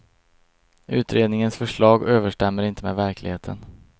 Utredningens förslag överstämmer inte med verkligheten.